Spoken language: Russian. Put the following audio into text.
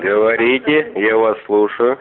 говорите я вас слушаю